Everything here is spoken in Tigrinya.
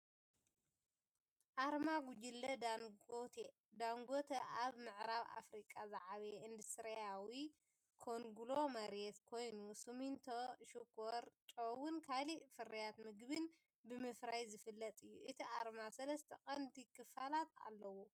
ኣርማ ጉጅለ ዳንጎቴ። ዳንጎተ ኣብ ምዕራብ ኣፍሪቃ ዝዓበየ ኢንዱስትርያዊ ኮንግሎሜሬት ኮይኑ፡ ሲሚንቶ፡ ሽኮር፡ ጨውን ካልእ ፍርያት መግብን ብምፍራይ ዝፍለጥ እዩ። እቲ ኣርማ ሰለስተ ቀንዲ ክፋላት ኣለዎ፤